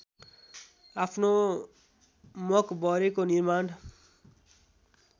आफ्नो मकबरेको निर्माण